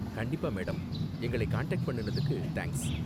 கண்டிப்பா, மேடம். எங்களை காண்டாக்ட் பண்ணுனதுக்கு தேங்க்ஸ்.